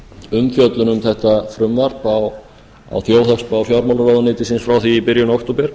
umfjöllun um þetta frumvarp á þjóðhagsspá fjármálaráðuneytisins frá því í byrjun október